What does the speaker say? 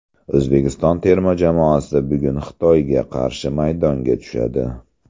O‘zbekiston terma jamoasi bugun Xitoyga qarshi maydonga tushadi.